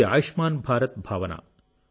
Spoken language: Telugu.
ఇది ఆయుష్మాన్ భారత్ భావన